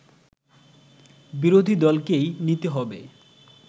বিরোধী দলকেই নিতে হবে